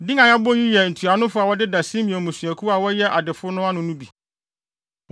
Din a yɛabobɔ yi yɛ ntuanofo a wɔdeda Simeon mmusuakuw a wɔyɛ adefo no ano no bi.